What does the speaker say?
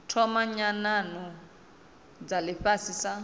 thoma nyanano dza ifhasi sa